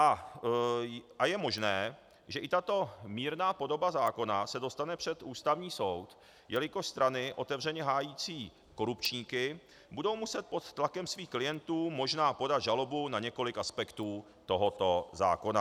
A je možné, že i tato mírná podoba zákona se dostane před Ústavní soud, jelikož strany otevřeně hájící korupčníky budou muset pod tlakem svých klientů možná podat žalobu na několik aspektů tohoto zákona.